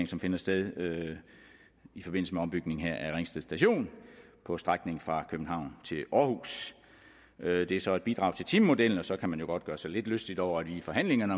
som finder sted i forbindelse med ombygningen her af ringsted station på strækningen fra københavn til århus det er så et bidrag til timemodellen og så kan man jo godt gøre sig lidt lystig over at vi i forhandlingerne